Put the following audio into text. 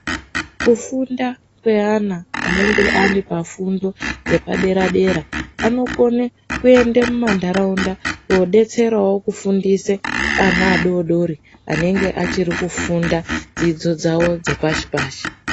Kufunda kweana anenge aripafundo dzepadera-dera vanokone kuende muma ntaraunda koodetserawo kufundise ana adodori anenge achiri kufunda dzidzo dzawo dzepashi-pashi.